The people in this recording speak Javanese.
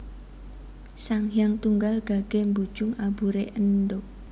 Sang Hyang Tunggal gagé mbujung aburé endhog